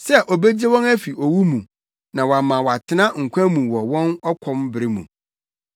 sɛ obegye wɔn afi owu mu na wama wɔatena nkwa mu wɔ ɔkɔm bere mu.